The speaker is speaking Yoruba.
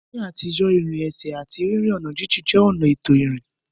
Ní àtijọ́, ìrìn ẹsẹ̀ àti rírin ọ̀nà jíjìn jẹ́ ọ̀nà ètò ìrìn.